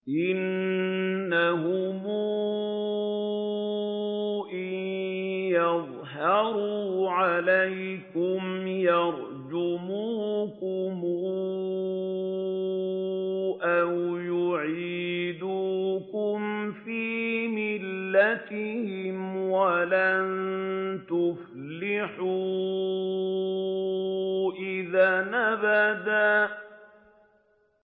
إِنَّهُمْ إِن يَظْهَرُوا عَلَيْكُمْ يَرْجُمُوكُمْ أَوْ يُعِيدُوكُمْ فِي مِلَّتِهِمْ وَلَن تُفْلِحُوا إِذًا أَبَدًا